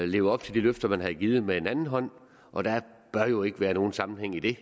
leve op til de løfter man havde givet med den anden hånd og der bør jo ikke være nogen sammenhæng i det